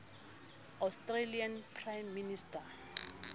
australian prime minister